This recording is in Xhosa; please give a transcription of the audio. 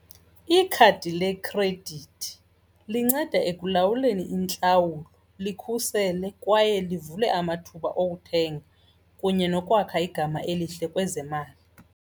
Ikhadi lekhredithi linceda ekulawuleni intlawulo likhuseleke kwaye livulwe amathuba okuthenga kunye nokwakha igama elihle kwezemali.